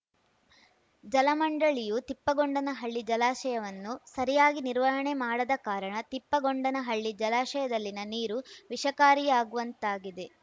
ಜಲಮಂಡಳಿಯು ತಿಪ್ಪಗೊಂಡನಹಳ್ಳಿ ಜಲಾಶಯವನ್ನು ಸರಿಯಾಗಿ ನಿರ್ವಹಣೆ ಮಾಡದ ಕಾರಣ ತಿಪ್ಪಗೊಂಡನಹಳ್ಳಿ ಜಲಾಶಯದಲ್ಲಿನ ನೀರು ವಿಷಕಾರಿಯಾಗುವಂತಾಗಿದೆ